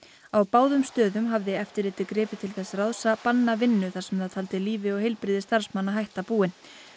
á báðum stöðum hafði eftirlitið gripið til þess ráðs að banna vinnu þar sem það taldi lífi og heilbrigði starfsmanna hætta búin